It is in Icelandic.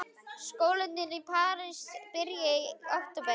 Skólarnir í París byrja í október.